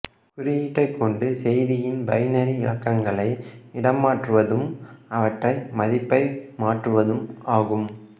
குறியீட்டைக் கொண்டு செய்தியின் பைனரி இலக்கங்களை இடம் மாற்றுவதும் அவற்றை மதிப்பை மாற்றுவதும் ஆகும்